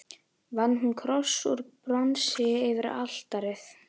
Vann hún kross úr bronsi yfir altarið.